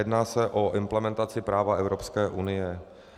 Jedná se o implementaci práva Evropské unie.